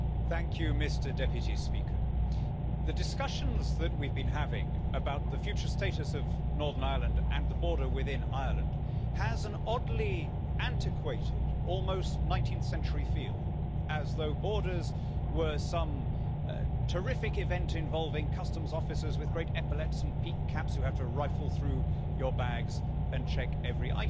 Mr President, the discussions that we have been having about the future status of Northern Ireland and the border within Ireland have an oddly antiquated, almost 19th century feel as though borders were some terrific event involving customs officers with great epaulets and peaked caps who have to rifle through your bags and check every item.